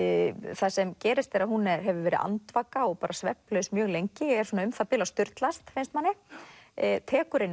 það sem gerist er að hún hefur verið andvaka og svefnlaus mjög lengi er svona um það bil að sturlast finnst manni tekur inn